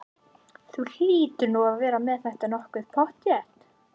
Þú hlýtur nú að vera með þetta nokkuð pottþétt?